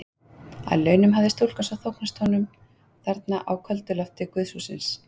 Að launum hafði stúlkan svo þóknast honum þarna á köldu lofti guðshússins.